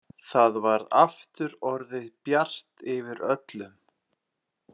Það var aftur orðið bjart yfir öllu.